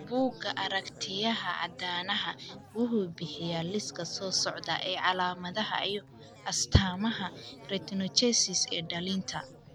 Bugga aragtiyaha aanadanaha wuxuu bixiyaa liiska soo socda ee calaamadaha iyo astaamaha retinoschisis ee dhallinta.